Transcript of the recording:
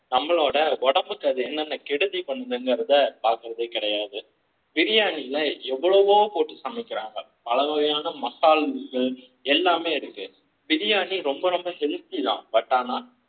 நம்மளோட உடம்புக்கு அது என்ன நான் கெடுதி பன்னுறத பாக்குறது பிரியாணியில எவ்வளவோ போட்டு சமைக்கிறாங்க பல வகையான மசால் இருக்கு எல்லாமே இருக்கு பிரியாணி ரொம்ப ரொம்ப healthy தான் but ஆனா உடம்புக்கு என்ன நான் கெடுதி பண்றத பாக்குறது கிடையாது